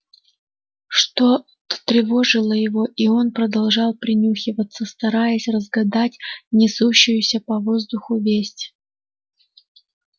что то встревожило его и он продолжал принюхиваться стараясь разгадать несущуюся по воздуху весть